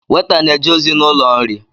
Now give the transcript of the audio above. Weta na-eje ozi n’ụlọ nri